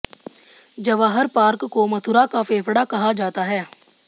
Jawahar park को मथुरा का फेंफड़ा कहा जाता है